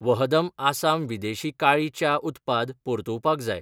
वहदम आसाम विदेशी काळी च्या उत्पाद परतुवपाक जाय.